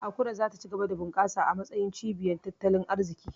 Akure za ta ci gaba da bunkasa a matsayin cibiyar tattalin arziki.